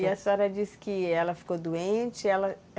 E a senhora disse que ela ficou doente, ela